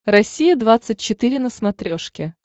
россия двадцать четыре на смотрешке